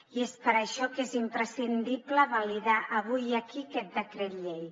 i és per això que és imprescindible validar avui i aquí aquest decret llei